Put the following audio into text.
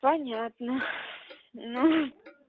понятно ну